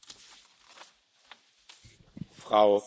Frau Präsidentin, meine Damen und Herren!